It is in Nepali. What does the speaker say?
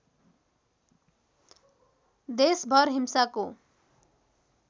देशभर हिंसाको